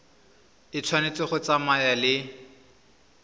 e tshwanetse go tsamaya le